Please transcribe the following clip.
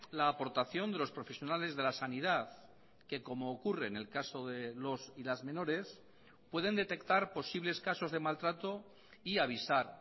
la aportación de los profesionales de la sanidad que como ocurre en el caso de los y las menores pueden detectar posibles casos de maltrato y avisar